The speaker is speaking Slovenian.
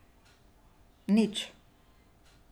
Nič...